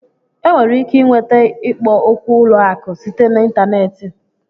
E nwere ike ịnweta ikpo okwu ụlọ akụ site na ịntanetị